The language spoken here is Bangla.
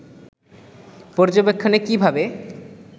পর্যবেক্ষণে কী ভাবে